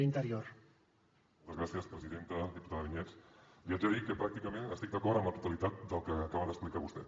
diputada vinyets li haig de dir que pràcticament estic d’acord amb la totalitat del que acaba d’explicar vostè